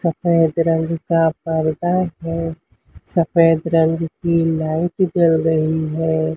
सफेद रंग का परदा है सफेद रंग की लाइट जल रही है।